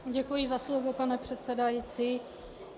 Děkuji za slovo, pane předsedající.